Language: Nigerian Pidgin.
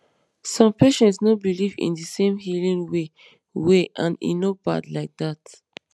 some patients no believe in the same healing way way and e no bad like that